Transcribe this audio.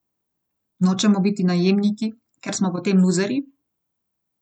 Nočemo biti najemniki, ker smo potem luzerji?